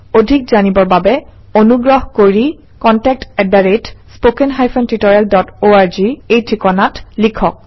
অধিক জানিবৰ বাবে অনুগ্ৰহ কৰি contactspoken tutorialorg - এই ঠিকনাত লিখক